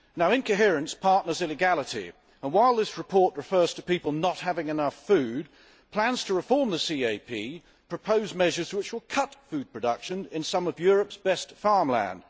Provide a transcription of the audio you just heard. Incoherence partners illegality, and while this report refers to people not having enough food, plans to reform the CAP propose measures which will cut food production in some of Europe's best farmland.